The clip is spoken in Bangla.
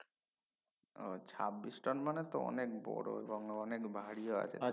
ও ছাব্বিশ টোন মানে তো অনেক বড় অনেক ভারিও আছে